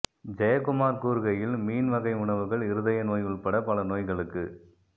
ஜெயக்குமார் கூறுகையில்மீன் வகை உணவுகள் இருதய நோய் உள்பட பல நோய்களுக்கு